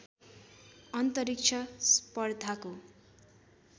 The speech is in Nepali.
अन्तरिक्ष स्पर्धाको